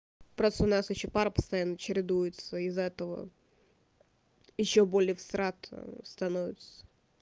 просто у нас ещё пары постоянно чередуются из-за этого ещё более всрато становится